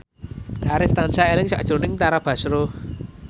Arif tansah eling sakjroning Tara Basro